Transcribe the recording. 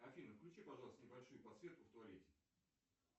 афина включи пожалуйста небольшую подсветку в туалете